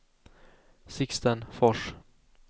Sixten Fors